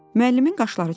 Müəllimin qaşları çatıldı.